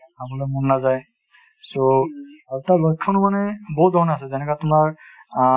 খাবলৈ মন নাযায় so আৰু তাৰ লক্ষণ মানে বহুত ধৰণৰ আছে যেনেকুৱা তোমাৰ আ